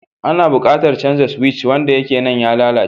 Ana buƙatar canza suwic. Wanda yake nan ya lalace